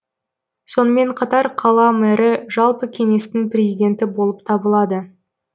сонымен қатар қала мэрі жалпы кеңестің президенті болып табылады